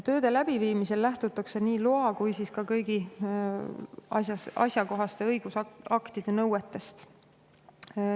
Tööde läbiviimisel lähtutakse nii loa kui ka kõigi asjakohaste õigusaktide nõuetest.